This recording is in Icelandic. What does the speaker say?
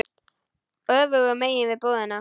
Öfugu megin við búðina.